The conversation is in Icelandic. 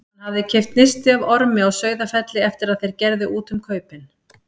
Hann hafði keypt nisti af Ormi á Sauðafelli eftir að þeir gerðu út um kaupin.